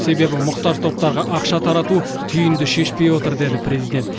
себебі мұқтаж топтарға ақша тарату түйінді шешпей отыр деді президент